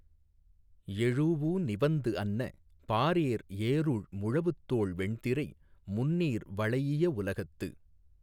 எழூஉ நிவந்து அன்ன பாரேர் ஏறுழ் முழவுத்தோள் வெண்திரை முந்நீர் வளைஇய உலகத்து